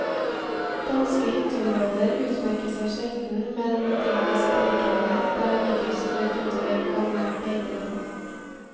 Danske hytteområder utmerker seg sjelden med en idyllisk beliggenhet der de ligger strødd utover gammelt beiteland.